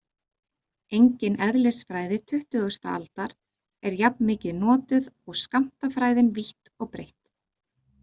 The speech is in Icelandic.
Engin eðlisfræði tuttugasta aldar er jafn mikið notuð og skammtafræðin vítt og breitt.